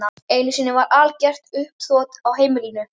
Einu sinni varð algert uppþot á heimilinu.